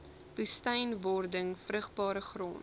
woestynwording vrugbare grond